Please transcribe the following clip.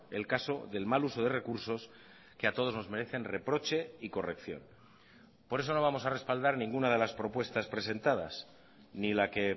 el caso del mal uso de recursos que a todos nos merecen reproche y corrección por eso no vamos a respaldar ninguna de las propuestas presentadas ni la que